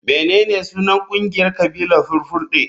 Menene sunan kungiyar kabilar fulfulde?